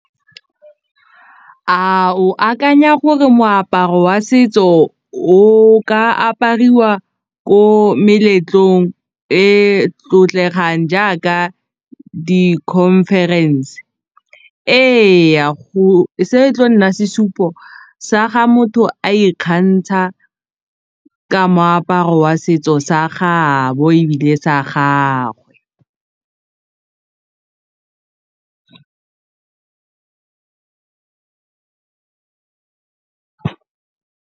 A o a akanya gore moaparo wa setso o ka apariwa ko meletlong e tlotlegang jaaka di-conference ee se e tlo nna sesupo sa ga motho a ikgantsha ka moaparo wa setso sa gabo di sa gagwe.